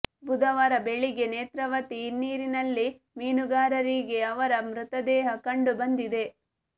ಬುಧವಾರ ಬೆಳಿಗ್ಗೆ ನೇತ್ರಾವತಿ ಹಿನ್ನೀರಿನಲ್ಲಿ ಮೀನುಗಾರರಿಗೆ ಅವರ ಮೃತದೇಹ ಕಂಡು ಬಂದಿದೆ